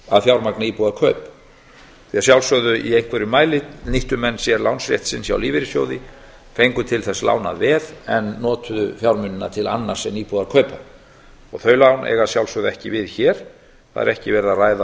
að fjármagna íbúðarkaup því að sjálfsögðu í einhverjum mæli nýttu menn sér lánsrétt sinn hjá lífeyrissjóði fengu til þess lánað veð en notuðu fjármunina til annars en íbúðarkaupa þau lán eiga að sjálfsögðu ekki við hér það er ekki verið að ræða